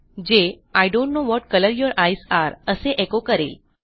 जे I don't know what colour your eyes are असे echo करेल